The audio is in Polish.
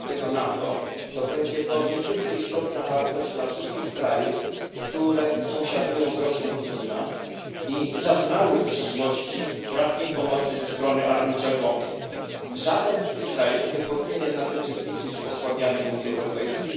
5 NATO, to będzie to niezwykle istotna wartość dla wszystkich krajów, które sąsiadują z Rosją Putina i zaznały w przeszłości bratniej pomocy ze strony Armii Czerwonej. Żaden z tych krajów nie powinien jednak uczestniczyć w osłabianiu Unii Europejskiej.